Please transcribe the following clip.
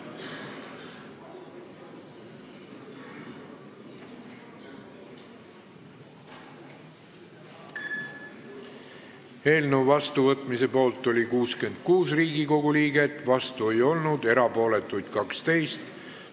Hääletustulemused Eelnõu vastuvõtmise poolt oli 66 Riigikogu liiget, vastu ei olnud keegi, erapooletuid oli 12.